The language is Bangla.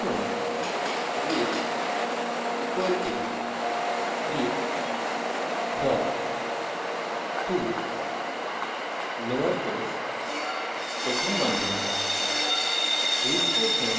লিখুন greet = greet tolowercase ;